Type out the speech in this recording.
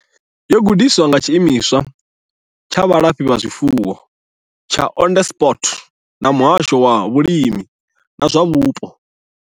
Yo gandiswa nga Tshiimiswa tsha Vhulafhazwifuwo tsha Onderstepoort na Muhasho wa Vhulimi na zwa Vhupo.